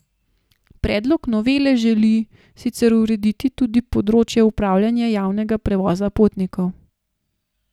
Predlog novele želi sicer urediti tudi področje upravljanja javnega prevoza potnikov.